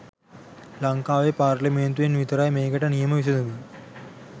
ලංකාවේ පාර්ලිමේන්තුවෙන් විතරයිමේකට නියම විසඳුම